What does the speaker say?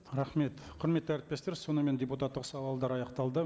рахмет құрметті әріптестер сонымен депутаттық сауалдар аяқталды